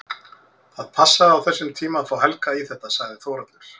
Það passaði á þessum tíma að fá Helga í þetta, sagði Þórhallur.